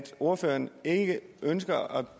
ordføreren ikke ønsker at